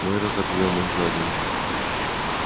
мы разобьём их за один